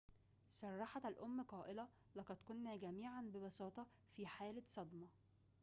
صرحت الأم قائلةً لقد كنا جميعاً ببساطة في حالة صدمة